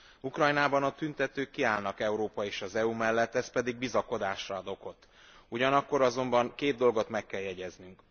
Ukrajnában a tüntetők kiállnak Európa és az EU mellet, ez pedig bizakodásra ad okot, ugyanakkor azonban két dolgot meg kell jegyeznünk.